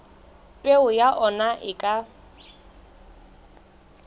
peo ya ona e ka